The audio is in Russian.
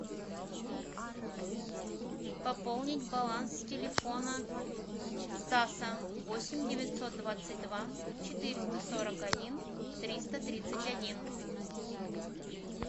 пополнить баланс телефона стаса восемь девятьсот двадцать два четыреста сорок один триста тридцать один